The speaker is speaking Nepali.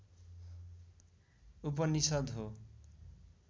उपनिषद् हो